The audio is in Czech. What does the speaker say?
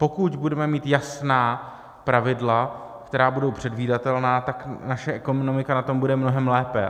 Pokud budeme mít jasná pravidla, která budou předvídatelná, tak naše ekonomika na tom bude mnohem lépe.